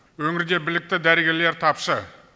өңірде білікті дәрігерлер тапшы